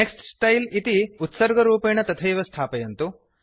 next style इति उत्सर्गरूपेण तथैव स्थापयन्तु